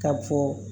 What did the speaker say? Ka fɔ